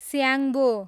Syangbo